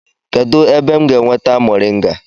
Kedu ebe m ga-enweta moringa?